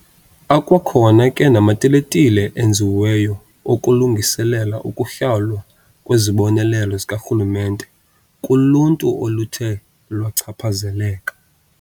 Akwakhona ke namatiletile enziweyo okulungiselela ukuhlawulwa kwezibonelelo zikarhulumente kuluntu oluthe lwachaphazeleka.